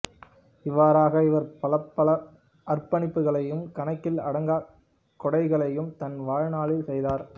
இவ்வாறாக இவர் பலப்பல அறப்பணிகளையும் கணக்கில் அடங்கா கொடைகளையும் தன் வாழ்நாளில் செய்தார்